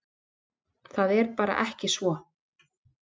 Það er bara ekki svo.